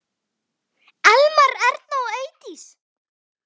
Elmar, Erna og Eydís.